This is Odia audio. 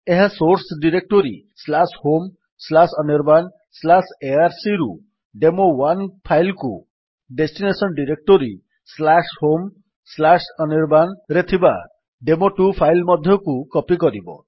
ଏହା ସୋର୍ସ୍ ଡିରେକ୍ଟୋରୀ homeanirbanarc ରୁ ଡେମୋ1 ଫାଇଲ୍ କୁ ଡେଷ୍ଟିନେସନ୍ ଡିରେକ୍ଟୋରୀ homeanirban ରେ ଥିବା ଡେମୋ2 ଫାଇଲ୍ ମଧ୍ୟକୁ କପୀ କରିବ